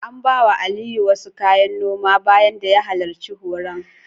An bawa Aliyu wasu kayan noma bayan da ya halarci horon.